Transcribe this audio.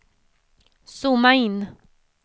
zooma in